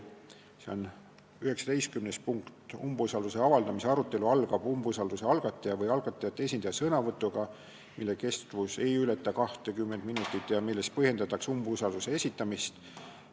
See on 19. punkt: "Umbusalduse avaldamise arutelu algab umbusalduse algataja või algatajate esindaja sõnavõtuga, mille kestus ei või ületada 20 minutit ja milles põhjendatakse umbusalduse esitamist.